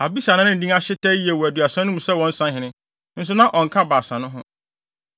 Abisai na na ne din ahyeta yiye wɔ Aduasa no mu sɛ wɔn sahene, nso na ɔnka Baasa no ho.